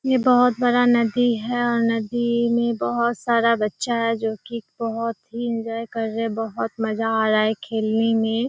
ये बहुत बड़ा नदी है और नदी में बहुत सारा बच्चा है बहुत ही एन्जॉय कर रहा है बहुत मजा आ रहा है खेलने में।